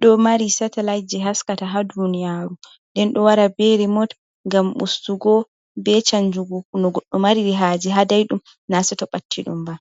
ɗo mari setilaiji haskata haa duniyaru, nden ɗo wara be rimot ngam ustugo, be chanjugo no goɗɗo mariri haaje haa daiɗum na seeto ɓatti ɗum ba.